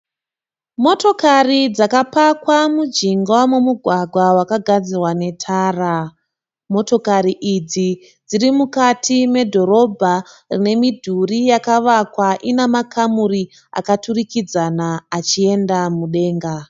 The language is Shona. Motokari dzakapakwa mujinga memugwagwa wakagadzirwa netara, motokari idzi dziri mukati medhorobha rakavakwa nemidhuri ina makamuri akaturikidzana achienda mudenga.